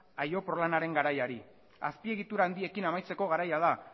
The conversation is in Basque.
garaiari azpiegitura handiekin amaitzeko garaia da